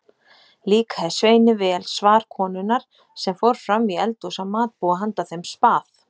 Líkaði Sveini vel svar konunnar sem fór fram í eldhús að matbúa handa þeim spað.